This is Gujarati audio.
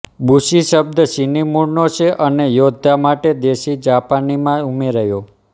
બુશી શબ્દ ચીની મૂળનો છે અને યોદ્ધા માટે દેશી જાપાનીમાં ઉમેરાયો